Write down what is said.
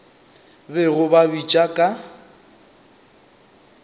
bego ba ba bitša ka